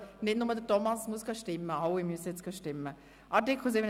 Nicht nur Thomas Brönnimann muss abstimmen, sondern alle.